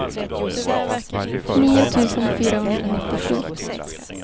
nio tusen fyrahundranittiosju